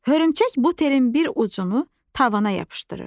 Hörümçək bu telin bir ucunu tavana yapışdırır.